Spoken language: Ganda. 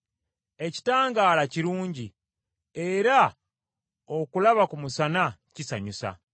Ekitangaala kirungi, era okulaba ku musana kisanyusa.